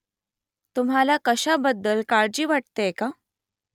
तुम्हाला कशाबद्दल काळजी वाटतेय का ?